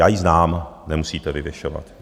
Já ji znám, nemusíte vyvěšovat.